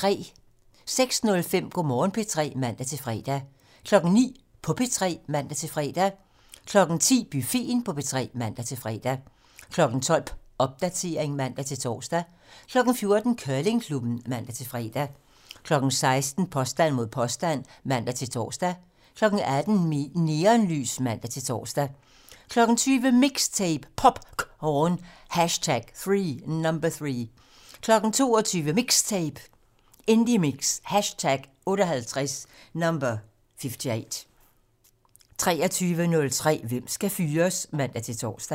06:05: Go' Morgen P3 (man-fre) 09:00: På P3 (man-fre) 10:00: Buffeten på P3 (man-fre) 12:00: Popdatering (man-tor) 14:00: Curlingklubben (man-fre) 16:00: Påstand mod påstand (man-tor) 18:00: Neonlys (man-tor) 20:00: MIXTAPE - POPcorn #3 22:00: MIXTAPE - Indiemix #58 23:03: Hvem skal fyres? (man-tor)